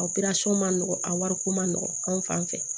A ma nɔgɔ a wariko ma nɔgɔ anw fan fɛ